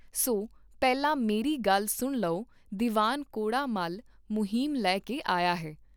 ਸੋ ਪਹਿਲਾਂ ਮੇਰੀ ਗੱਲ ਸੁਣ ਲਓ ਦੀਵਾਨ ਕੌੜਾ ਮੱਲ ਮੁਹਿੰਮ ਲੈ ਕੇ ਆਇਆ ਹੈ।